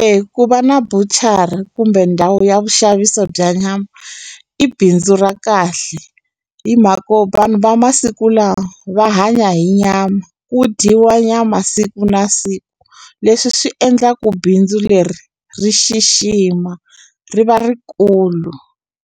E ku va na buchari kumbe ndhawu ya vuxaviso bya nyama i bindzu ra kahle hi mhako vanhu va masiku lawa va hanya hi nyama, ku dyiwa nyama siku na siku leswi swi endla ku bindzu leri ri xixima ri va rikulu